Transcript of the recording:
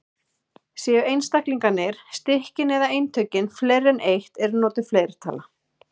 Séu einstaklingarnir, stykkin eða eintökin fleiri en eitt er notuð fleirtala.